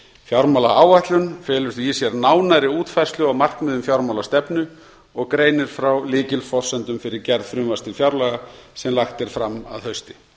fjármálaáætlun felur því í sér nánari útfærslu á markmiðum fjármálastefnu og greinir frá lykilforsendum fyrir gerð frumvarps til fjárlaga sem lagt er fram að hausti